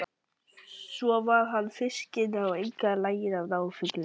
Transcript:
Svo var hann fiskinn og einkar laginn að ná fugli.